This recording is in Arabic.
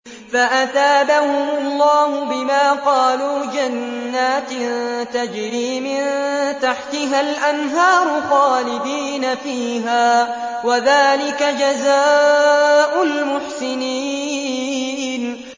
فَأَثَابَهُمُ اللَّهُ بِمَا قَالُوا جَنَّاتٍ تَجْرِي مِن تَحْتِهَا الْأَنْهَارُ خَالِدِينَ فِيهَا ۚ وَذَٰلِكَ جَزَاءُ الْمُحْسِنِينَ